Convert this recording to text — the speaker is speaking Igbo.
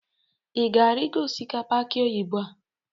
ị ga-arịgo osisi akị oyibo a?